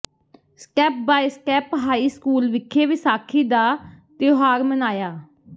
step by step high school ਵਿਖੇ ਵਿਸਾਖੀ ਦਾ ਤਿਉਹਾਰ ਮਨਾਇਆ